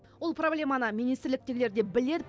ол проблеманы министрліктегілер де біледі